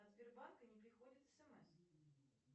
от сбербанка не приходит смс